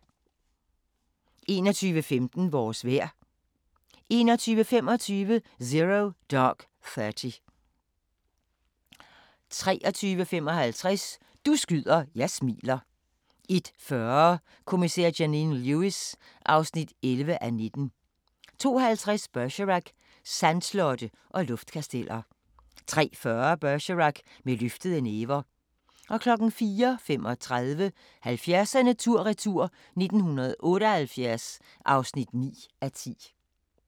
21:15: Vores vejr 21:25: Zero Dark Thirty 23:55: Du skyder, jeg smiler 01:40: Kommissær Janine Lewis (11:19) 02:50: Bergerac: Sandslotte og luftkasteller 03:40: Bergerac: Med løftede næver 04:35: 70'erne tur-retur: 1978 (9:10)